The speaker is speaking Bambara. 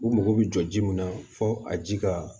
U mago bɛ jɔ ji mun na fɔ a ji ka